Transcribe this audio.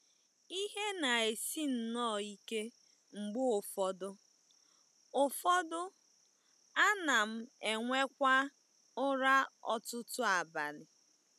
Ihe na-esi nnọọ ike mgbe ụfọdụ, ụfọdụ, ana m enwekwa ụra ọtụtụ abalị.